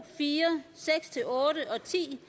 fire seks otte og ti